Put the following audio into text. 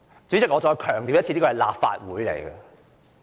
主席，我再次強調，這裏是立法會。